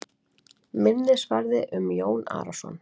Minnisvarði um Jón Arason.